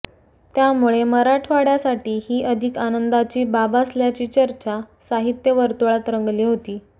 त्यामुळे मराठवाड्यासाठी ही अधिक आनंदाची बाब असल्याची चर्चा साहित्य वर्तुळात रंगली होती